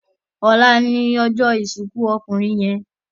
Òlá lòjò isinkú òkúnrin yèn